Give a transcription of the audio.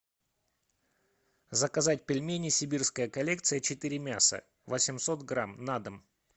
заказать пельмени сибирская коллекция четыре мяса восемьсот грамм на дом